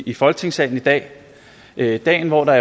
i folketingssalen i dag det er jo dagen hvor der